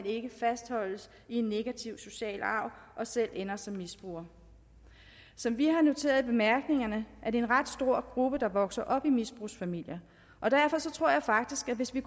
ikke fastholdes i en negativ social arv og selv ender som misbrugere som vi har noteret i bemærkningerne er det en ret stor gruppe der vokser op i misbrugsfamilier og derfor tror jeg faktisk at hvis vi